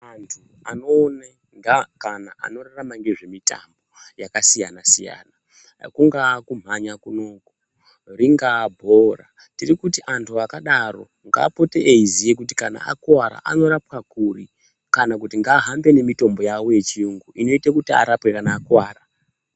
Antu anoone ngeakana anorarama ngezvemutambo yakasiyana siyana kungaa kumhanya kunoku ringaa bhora Tiri kuti Anyu akadaro ngaapote eiziya kuti kana akuwara anorapwa kuri kana kuti ngaahambe nemitombo yawo yechiyungu inoite kuti arapwe kana akuwara.